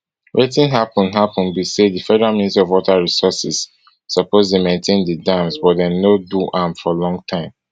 wetin happun happun be say di federal ministry of water resources suppose dey maintain di dams but dem no do am for long time